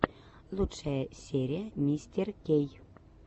лучшая серия мистеркей